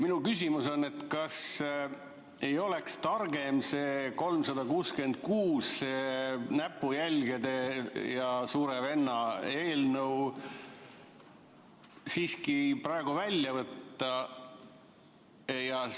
Minu küsimus on, et kas ei oleks targem see 366, see näpujälgede ja suure venna eelnõu siiski praegu välja võtta.